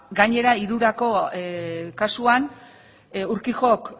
gainera irurako kasuan urquijok